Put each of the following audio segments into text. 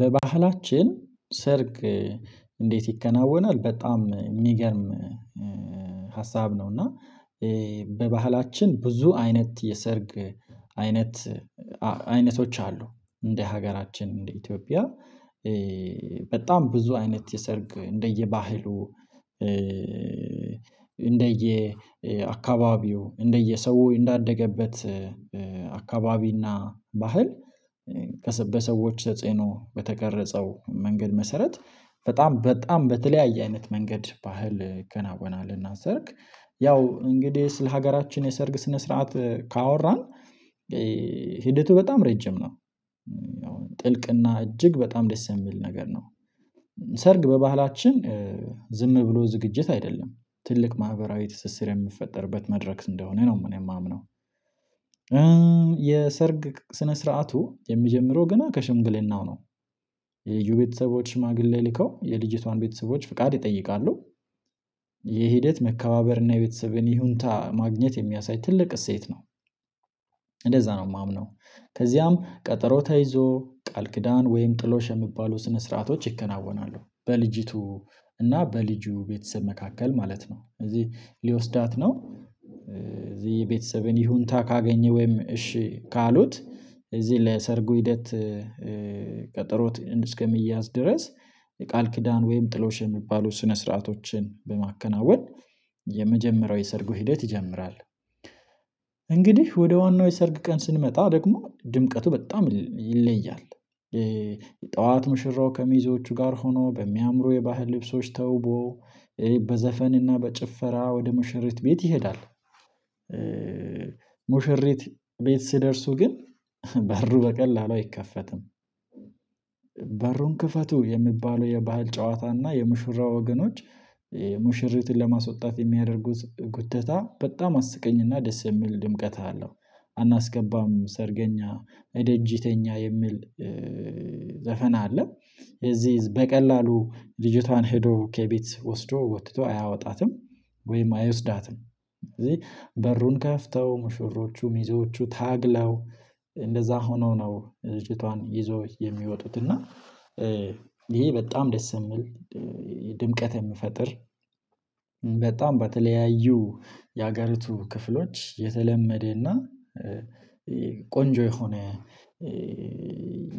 በባህላችን ሰርግ እንዴት ይከናወናል በጣም የሚገርም ሀሳብ ነው። እና በባህላችን ብዙ አይነት የሰርግ አይነት አይነቶች አሉ። እንደ ሀገራችን እንደ ኢትዮጵያ። በጣም ብዙ አይነት የሰርግ እንደየባህሉ እንደየአካባቢው እንደየሰው እንዳደገበት አካባቢና ባህል ከስብስቦች ተጽዕኖ በተቀረጸው መንገድ መሰረት በጣም በጣም በተለያዩ አይነት መንገድ ባህል ይከናወናል። እና ሰርግ ያው እንግዲህ ስለ ሀገራችን የሰርግ ስነ ስርዓት ካወራን ሂደቱ በጣም ረጅም ነው። ጥልቅ እና እጅግ በጣም ደስ የሚል ነገር ነው። ሰርግ በባህላችን ዝም ብሎ ዝግጅት አይደለም ትልቅ ማህበራዊ ትስስር የሚፈጠርበት መድረክ እንደሆነ ነው እኔ የማምነው። የሰርግ ስነ ስርዓቱ የሚጀምረው ገና ከሽምግልናው ነው። የወንዱ ቤተሰቦች ሽማግሌ ልከው የልጅቷን ቤተሰቦች ፈቃድ ይጠይቃሉ። የሂደት መከባበርና የቤተሰብን ሁኔታ ማግኘት የሚያሳይ ትልቅ እሴት ነው። እንደዚያ ነው የማምነው። ከዚያም ቀጠሮ ተይዞ ቃል ኪዳን ወይም ጥሎሽ የሚባሉ ስነ ስርዓቶች ይከናወናሉ። በልጅቷ እና በልጁ ቤተሰብ መካከል ማለት ነው። እዚህ ሊወስዳት ነው እዚህ ቤተሰብን ሁኔታ ካገኘ ወይም እሺ ካሉት እዚህ ለሰርጉ ሂደት ቀጠሮ እስከሚያዝ ድረስ የቃል ኪዳን ወይም ጥሎሽ የሚባሉ ስነ ስርዓቶችን በማከናወን የመጀመሪያው የሰርጉ ሂደት ይጀምራል። እንግዲህ ወደ ዋናው የሰርግ ቀን ስንመጣ ደግሞ ድምቀቱ በጣም ይለያል። ጠዋት ሙሽራው ከሚዜዎቹ ጋር ሆኖ በሚያምሩ የባህል ልብሶች ተዉቦ በዘፈን እና በጨፈራ ወደ ሙሽሪት ቤት ይሄዳል። ሙሽሪት ቤት ሲደርሱ ግን በሩ በቀላሉ አይከፈትም። በሩን ክፈቱ የሚባለው የባህል ጨዋታ እና የሙሽራ ወገኖች ሙሽሪትን ለማስወጣት የሚያደርጉት ጉደታ በጣም አስቀንኚና ደስ የሚል ድምቀት አለው። አናስገባም ሰርግኛ እደጅ ተኛ የሚል ዘፈን አለ። የዚህ በቀላሉ ልጅቷን ሄዶ ከቤት ወስዶ ወጥቶ አያወጣትም። ወይም አይወስዳትም። ስለዚህ በሩን ከፍተው ሙሽሮቹ ሚዜዎቹ ታግለው እንደዚያ ሆነው ነው ልጅቷን ይዘው የሚወጡት እና። ይሄ በጣም ደስ የሚል ድምቀት የሚፈጥር በጣም በተለያዩ የሀገሪቱ ክፍሎች የተለመደና ቆንጆ የሆነ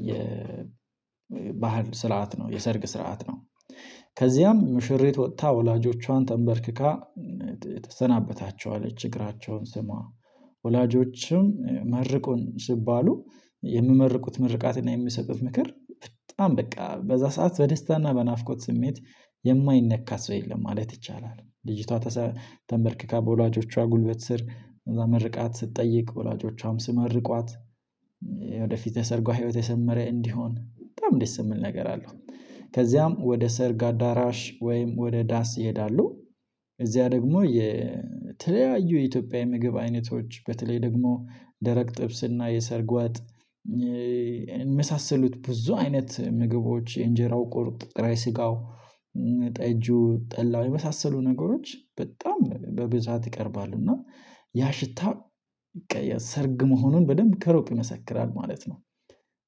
የባህል ስርዓት ነው የሰርግ ስርዓት ነው። ከዚያም ሙሽሪት ወጥታ ወላጆቿን ተንበርክካ ተሰናበታቸው አለች እግራቸውን ስማ ሳማ ወላጆችን መርቁኝ ሲባሉ የሚመርቁት ምርቃትና የሚሰጡት ምክር በጣም በቃ በዚያ ሰዓት በደስታና በናፍቆት ስሜት የማይነካ ሰው የለም ማለት ይቻላል። ልጅቷ ተንበርክካ በወላጆቿ ጉልበት ስር ከዚያ ምርቃት ስትጠይቅ ወላጆቿም ሲመርቋት ወደፊት የሠርጋ ሕይወቷ የሰመረ እንዲሆን በጣም ደስ የሚል ነገር አለው። ከዚያም ወደ ሰርግ አዳራሽ ወይም ወደ ዳንስ ይሄዳሉ። እዚያ ደግሞ የተለያዩ የኢትዮጵያ የምግብ አይነቶች በተለይ ደግሞ ደረቅ ጥብስና የሰርግ ወጥ የሚመሳሰሉት ብዙ አይነት ምግቦች የእንጀራው፣ ቁርጥ ጥሬ ስጋው፣ ጠጁ፣ ጠላው የሚመሳሰሉ ነገሮች በጣም በብዛት ይቀርባሉ። እና ያ ሽታ ሰርግ መሆኑን በደንብ ከሩቅ ይመሰክራል ማለት ነው።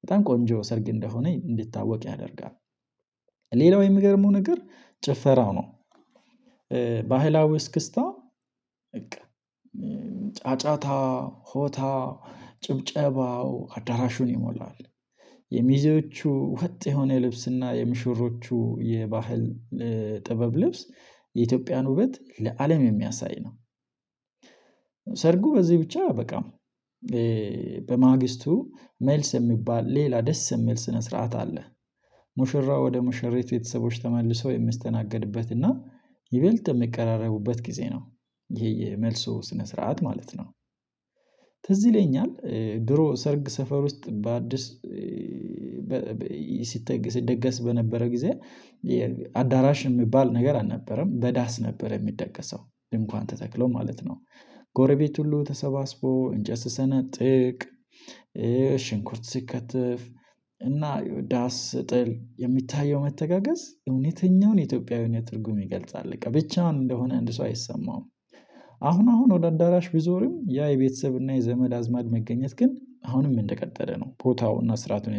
በጣም ቆንጆ ሰርግ እንደሆነ እንዲታወቅ ያደርጋል። ሌላው የሚገርመው ነገር ጨፈራው ነው። ባህላዊ እስክስታ በቃ ጫጫታ ሆታ ጭብጨባው አዳራሹን ይሞላል። የሚዜዎቹ ወጥ የሆነ ልብስና የሙሽሮቹ የባህል ጥበብ ልብስ የኢትዮጵያን ውበት ለአለም የሚያሳይ ነው። ሰርጉ በዚህ ብቻ አያበቃም። በማግስቱ መልስ የሚባል ሌላ ደስ የሚል ስነ ስርዓት አለ። ሙሽራው ወደ ሙሽራ ቤተሰቦች ተመልሰው የሚስተናገዱበት እና የበለጠ የሚቀራረቡበት ጊዜ ነው። ይሄ የመልሱ ስነ ስርዓት ማለት ነው። ትዝ ይለኛል ድሮ ሰርግ ሰፈር ዉስጥ በአዲስ ሲተግ ሲደገስ በነበረበት ጊዜ አዳራሽ የሚባል ነገር አልነበረም በዳስ ነበር የሚደገሰው ድንኳን ተተክሎ ማለት ነው። ጎረቤት ሁሉ ተሰባስቦ እንጨት ሲሰነጥቅ ሽንኩርት ሲከተፍ እና ዳስ ሲጣል የሚታየው መተጋገዝ እውነተኛውን የኢትዮጵያዊነት ትርጉም ይገልጻል ብቻውን እንደሆነ እንዲሰማው አይደረግም። አሁን አሁን ወደ አዳራሽ ቢዞርም ያ የቤተሰብ እና የዘመድ አዝማድ መገኘት ግን አሁንም እንደቀጠለ ነው፤ ቦታውና ስርዓቱን